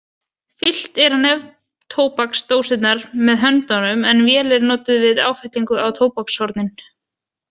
Fyllt er á neftóbaksdósirnar með höndunum en vél er notuð við áfyllingu á tóbakshornin.